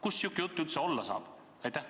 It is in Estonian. Kust sihuke jutt üldse tulla saab?